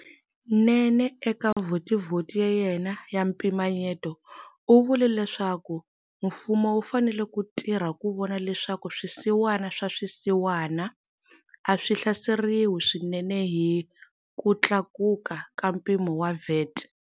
Nene eka Vhotivhoti ya yena ya mpimanyeto u vule leswaku mfumo wu fanele ku tirha ku vona leswaku swisiwana swa swisiwana a swi hlaseriwi swinene hi ku tlakuka ka mpimo wa VAT.